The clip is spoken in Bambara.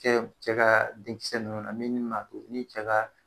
Cɛ ,cɛ ka denkisɛ nunnu na min ma ni cɛ ka